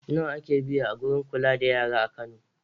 Nawa ake biya a wurin kula da yara a Kano?